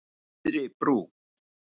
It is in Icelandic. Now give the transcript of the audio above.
Syðri Brú